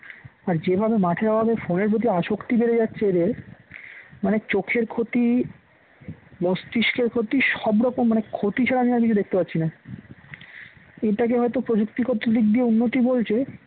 আর যেভাবে মাঠের অভাবে phone এর প্রতি আসক্তি বেড়ে যাচ্ছে এদের মানে চোখের ক্ষতি মস্তিষ্কের ক্ষতি সব রকম মানে ক্ষতি ছাড়া আমি আর কিছু দেখতে পাচ্ছি না, এটাকে হয়তো প্রযুক্তি গত দিক দিয়ে উন্নতি বলছে